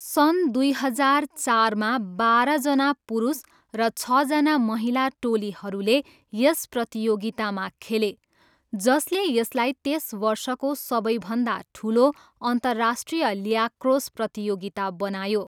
सन् दुई हजार चारमा, बाह्रजना पुरुष र छजना महिला टोलीहरूले यस प्रतियोगितामा खेले, जसले यसलाई त्यस वर्षको सबैभन्दा ठुलो अन्तर्राष्ट्रिय ल्याक्रोस प्रतियोगिता बनायो।